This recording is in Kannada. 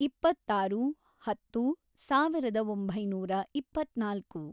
ಇಪ್ಪತ್ತಾರು, ಹತ್ತು, ಸಾವಿರದ ಒಂಬೈನೂರ ಇಪ್ಪತ್ನಾಲ್ಕು